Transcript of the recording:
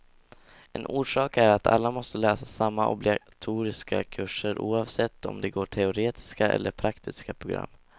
En orsak är att alla måste läsa samma obligatoriska kurser, oavsett om de går teoretiska eller praktiska program.